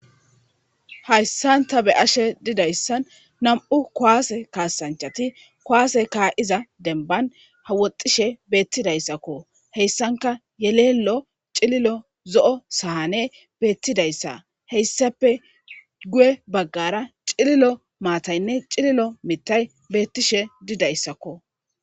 Hayssan ta be ashe didayssan nam7u kowaase kaasanchati kowaase kaa7iza denban hawoxishe beettidayssakko heyssanka yeleello cililo zo7o sahane beettidayssa heyssape guye baggara cililo maataynne cililo mitay beettishe didayssakko.